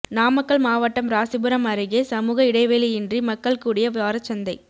நாமக்கல் மாவட்டம் ராசிபுரம் அருகே சமூக இடைவெளியின்றி மக்கள் கூடிய வாரச்சந்தை